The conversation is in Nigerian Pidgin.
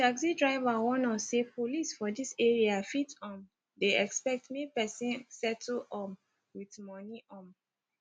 d taxi driver warn us say police for dis area fit um dey expect make persin settle um wit moni um